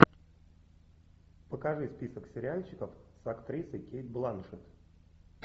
покажи список сериальчиков с актрисой кейт бланшетт